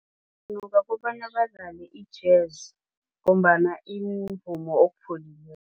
Nokobana badlale i-Jazz ngombana imvumo opholileko.